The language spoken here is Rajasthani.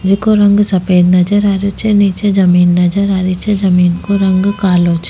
जिको रंग सफेद नजर आ रहियो छे नीचे जमींन नजर आ रही छे जमींन को रंग कालो छे।